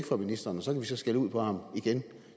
for ministeren og så kan vi så skælde ud på ham igen